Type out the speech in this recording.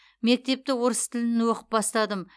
мектепті орыс тілін оқып бастадым